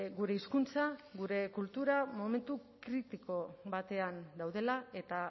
gure hizkuntza gure kultura momentu kritiko batean daudela eta